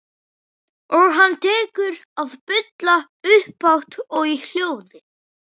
Og hann tekur að bulla upphátt og í hljóði.